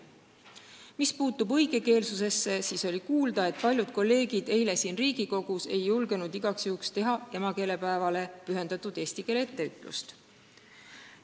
Mis puutub õigekeelsusesse, siis oli kuulda, et paljud kolleegid ei julgenud eile Riigikogus emakeelepäevale pühendatud eesti keele etteütlust teha.